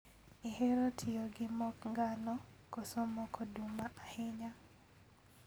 Ihero tiyo gi mok ngano koso mok oduma ahinya?